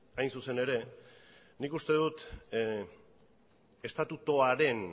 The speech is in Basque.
hain zuzen ere nik uste dut estatutuaren